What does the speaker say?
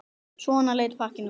Svona leit pakkinn út.